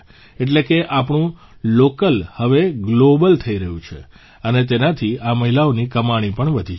એટલે કે આપણું લોકલ હવે ગ્લોબલ થઇ રહ્યું છે અને તેનાથી આ મહિલાઓની કમાણી પણ વધી છે